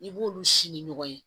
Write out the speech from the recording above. I b'olu si ni ɲɔgɔn ye